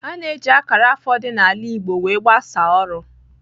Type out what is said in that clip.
A na-eji akara afọ dị n'ala igbo wee gbasaa ọrụ.